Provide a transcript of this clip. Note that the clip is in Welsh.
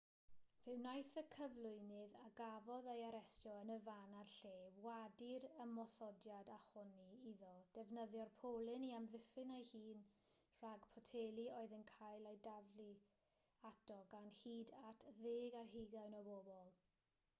fe wnaeth y cyflwynydd a gafodd ei arestio yn y fan a'r lle wadu'r ymosodiad a honni iddo ddefnyddio'r polyn i amddiffyn ei hun rhag poteli oedd yn cael eu taflu ato gan hyd at ddeg ar hugain o bobl